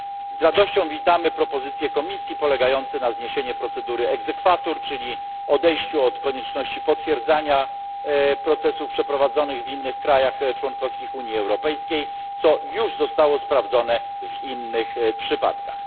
Z radością witamy propozycje Komisji polegające na zniesieniu procedury exequatur, czyli odejściu od konieczności potwierdzania procesów przeprowadzonych w innych państwach członkowskich Unii Europejskiej, co już zostało sprawdzone w innych przypadkach.